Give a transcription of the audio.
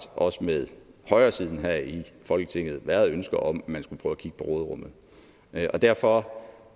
også med højresiden her i folketinget været ønske om at man skulle prøve at kigge på råderummet derfor